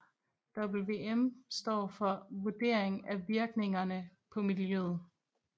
VVM står for Vurdering af Virkningerne på Miljøet